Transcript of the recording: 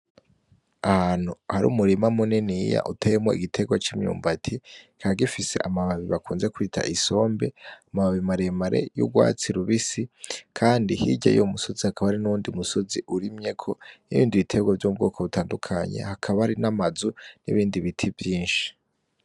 Ahantu hari umurima muniniya uteyemwo igitegwa c'imyumbati kikaba gifise amababi bakunze kwita isombe amababi maremare y'ugwatsi rubisi kandi hirya yuwo musozi hakaba hari n'uwundi musozi urimyeko n'ibindi bitegwa vy'ubwoko butandukanye hakaba hari n'amazu n'ibindi biti vyinshi.